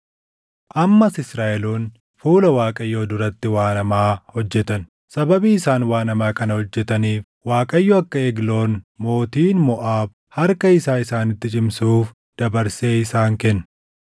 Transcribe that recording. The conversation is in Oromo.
Ammas Israaʼeloonni fuula Waaqayyoo duratti waan hamaa hojjetan; sababii isaan waan hamaa kana hojjetaniif Waaqayyo akka Egloon mootiin Moʼaab harka isaa isaanitti cimsuuf dabarsee isaan kenne.